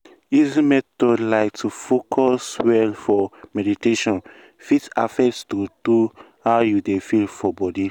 easy method like to fcus well for meditataion fit affect true true how you dey feel for body.